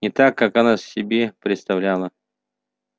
не так как она себе представляла